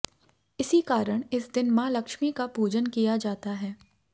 इसी कारण इस दिन मां लक्ष्मी का पूजन किया जाता है